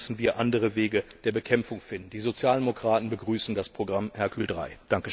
Dann müssen wir andere Wege der Bekämpfung finden. Die Sozialdemokraten begrüßen das Programm Hercule III.